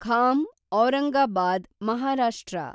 Kham Aurangabad Maharashtra